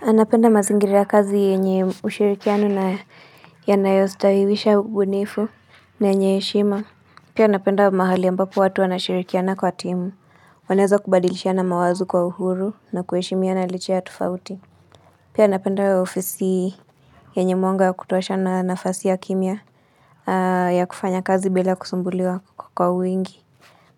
Anapenda mazingiri ya kazi yenye ushirikiano na yanayostawiwisha ubunifu na yenye heshima. Pia napenda mahali ambapo watu wanashirikiana kwa timu. Wanaweza kubadilishiana mawazo kwa uhuru na kuheshimina licha ya tofauti. Pia napenda ofisi yenye mwanga ya kutosha na nafasi ya kimya ya kufanya kazi bila kusumbuliwa kwa uwingi.